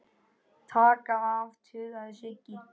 Taka af. tautaði Siggi.